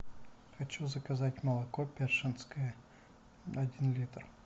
хочу заказать молоко першинское один литр